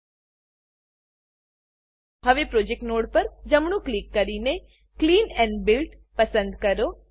હવે project project node પર જમણું ક્લિક કરીને clean build clean and build પસંદ કરો